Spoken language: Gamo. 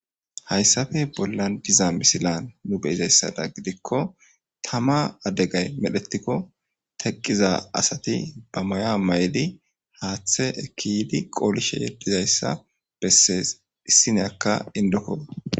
hayssafe bollan diza misilan nu beyizayssada gidikko tama adegay medhetikko teqqiza asati ba maya mayli haaththe ekiydi qoolishe yeddizayssa bessees issineyakka indoko